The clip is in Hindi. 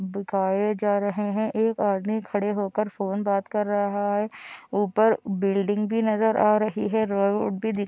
दिखाए जा रहे हैं एक आदमी खड़े होकर फोन बात कर रहा है ऊपर बिल्डिंग भी नजर आ रही है रोड भी दिख --